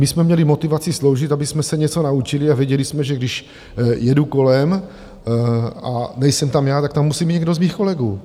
My jsme měli motivaci sloužit, abychom se něco naučili, a věděli jsme, že když jedu kolem a nejsem tam já, tak tam musí být někdo z mých kolegů.